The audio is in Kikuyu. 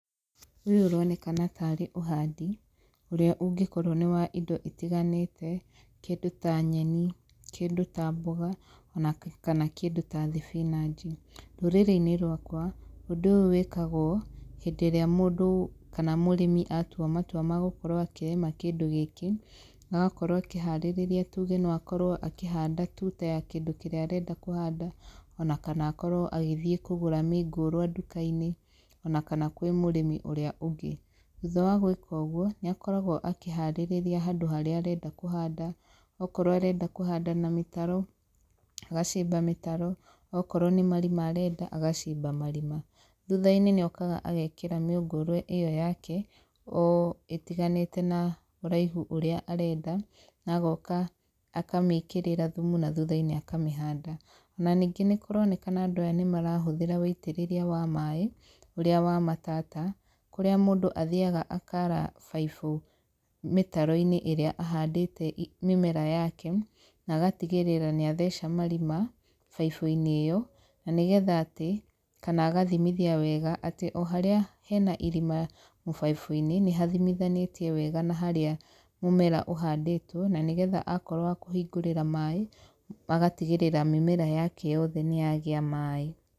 Ũyũ ũronekana tarĩ ũhandi, ũrĩa ũngĩkorwo nĩ wa indo itiganĩte, kĩndũ ta nyeni, kĩndũ ta mboga, ona kana kĩndũ ta thibinanji. Rũrũrĩ-inĩ rwakwa, ũndũ ũyũ wĩkagwo, hĩndĩ ĩrĩa mũndũ kana mũrĩmi atua matua ma gũkorwo akĩrĩma kĩndũ gĩkĩ, agakorwo akĩharĩrĩria tuge no akorwo akĩhanda tuta ya kĩndũ kĩrĩa arenda kũhanda, ona kana akorwo agĩthiĩ kũgũra mĩngũrwa nduka-inĩ, ona kana kwĩ mũrĩmi ũrĩa ũngĩ. Thutha wa gwĩka ũguo, nĩ akoragwo akĩharĩrĩria handũ harĩa arenda kũhanda. Okorwo arenda kũhanda na mĩtaro, agacimba mĩtaro. Okorwo nĩ marima arenda, agacimba marima. Thutha-inĩ nĩ okaga agekĩra mĩũngũrwa ĩyo yake o, ĩtiganĩte na ũraihu ũrĩa arenda, na agoka akamĩĩkĩrĩra thumu na thutha-inĩ akamĩhanda. Ona ningĩ nĩ kũronekana andũ aya nĩ marahũthĩra wĩitĩrĩria wa maaĩ, ũrĩa wa matata, kũrĩa mũndũ athiaga akaara baibũ mĩtaro-inĩ ĩrĩa ahandĩte mĩmera yake, na agatigĩrĩra nĩ atheca marima, baibũ-inĩ ĩyo. Na nĩgetha atĩ, kana agathimithia wega atĩ o harĩa hena irima mũbaibũ-inĩ, nĩ hathimithanĩtie na harĩa mũmera ũhandĩtwo, na nĩgetha akorwo wa kũhingũrĩra maaĩ, agatigĩrĩra mĩmera yake yothe nĩ yagĩa maaĩ.